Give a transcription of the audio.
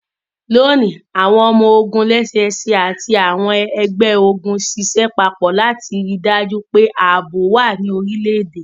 Loni, awọn ọmọ-ogun lẹ́sẹsẹ ati àwọn ẹgbẹ-ogun ṣiṣẹ papọ lati rii daju pe aabo wa ní orilẹ-ede.